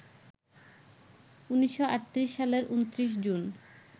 ১৯৩৮ সালের ২৯ জুন